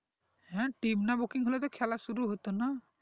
হ্যাঁ team না booking হলে তো খেলা শুরু হতো না